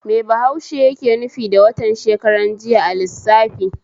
Me bahaushe yake nufi da watan shekaran jiya a lissafi?